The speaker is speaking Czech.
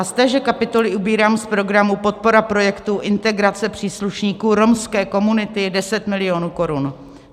A z téže kapitoly ubírám z programu Podpora projektu integrace příslušníků romské komunity 10 milionů korun.